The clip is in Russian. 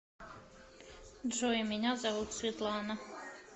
джой меня зовут светлана